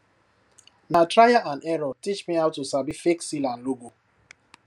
na trial and error teach me how to sabi fake seal and logo